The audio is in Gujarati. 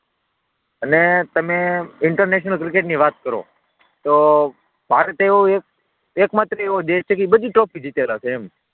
અને તમે ઇન્ટરનેશનલ ક્રિકેટની વાત કરો, તો ભારત એવો એક એવો એક માત્ર એવો દેશ છે કે એ બધી ટ્રોફી જીત્યા રાખે એમ.